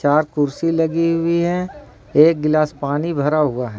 यहां कुर्सी लगी हुई है एक गिलास पानी भरा हुआ है।